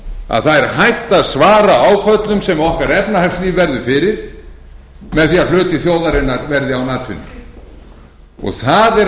að það er hægt að svara áföllum sem okkar efnahagslíf verður fyrir með því að hluti þjóðarinnar verður án atvinnu og það er